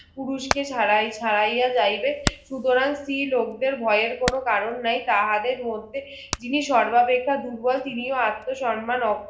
পুরুষকে ছাড়াইয়া যাইবে সুতরাং স্ত্রীলোক দেড় ভয়ের কোনো কারণ নাই তাহাদের মধ্যে যিনি সর্বাপেক্ষা দুর্বল তিনিও আত্মসম্মান